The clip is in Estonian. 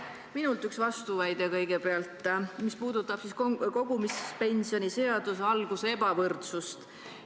Ka minult üks vastuväide kõigepealt, see puudutab kogumispensioni seadusega kävitatud ebavõrdsust.